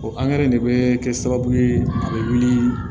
O de bɛ kɛ sababu ye a bɛ wuli